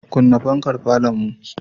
Kunna fankar falonmu.